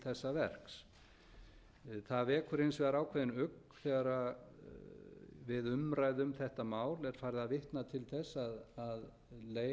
verks það vekur hins vegar ákveðinn ugg þegar við umræðu um þetta mál er farið að vitna til þess að möguleg leið til